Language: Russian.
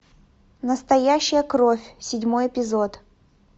настоящая кровь седьмой эпизод